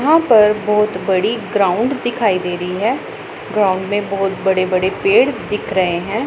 यहां पर बहुत बड़ी ग्राउंड दिखाई दे रही है ग्राउंड में बहुत बड़े बड़े पेड़ दिख रहे हैं।